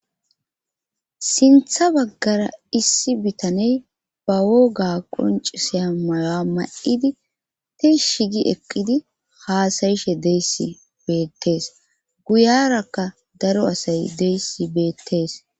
sintha baggara issi bitaney ba woga qoncisiya mayoa ma7idi tishi gi eqqidi haasayishe deyssi beettees guyarakka daro asay deyssi beettees